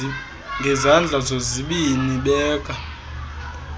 ngezandla zozibini beka